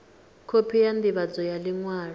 khophi ya ndivhadzo ya liṅwalo